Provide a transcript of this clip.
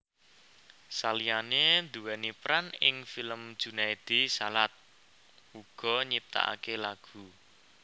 Saliyane nduweni peran ing film Junaedi Salat uga nyiptakake lagu